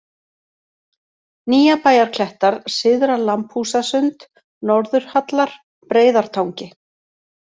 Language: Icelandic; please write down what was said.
Nýjabæjarklettar, Syðra-Lambhúsasund, Norðurhallar, Breiðartangi